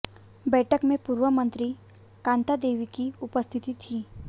बैठक में पूर्व मंत्री कान्ता देवी भी उपस्थित थी